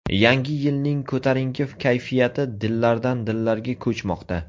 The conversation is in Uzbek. Yangi yilning ko‘tarinki kayfiyati dillardan-dillarga ko‘chmoqda.